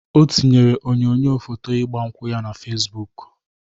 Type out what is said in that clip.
O tinyere onyoyo foto igba nkwu ya na Fesbụk.